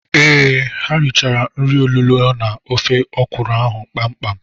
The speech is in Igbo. Ee, ha richara nri olulo na ofe ọkwụrụ ha kpam kpam.